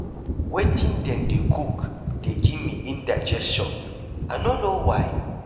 Wetin dem dey cook dey give me indigestion I no know why.